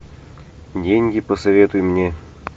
деньги посоветуй мне